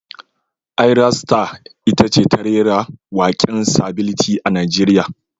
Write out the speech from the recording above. Ayra Star ita ce ta rera waken sability a Najeriya.